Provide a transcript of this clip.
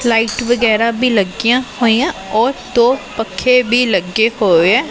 Lights ਵਗੈਰਾ ਭੀ ਲੱਗੀਆਂ ਹੋਈਆਂ ਔਰ ਦੋ ਪੱਖੇ ਭੀ ਲੱਗੇ ਹੋਏ ਐ।